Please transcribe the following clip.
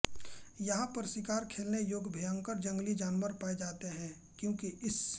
यहाँ पर शिकार खेलने योग्य भयंकर जंगली जानवर पाए जाते हैं क्योंकि इस